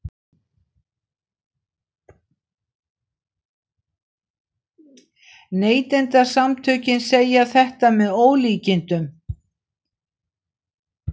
Neytendasamtökin segja þetta með ólíkindum